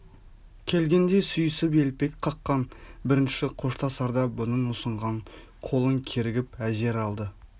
келгенде сүйісіп елпек қаққан бірінші қоштасарда бұның ұсынған қолын кергіп әзер алды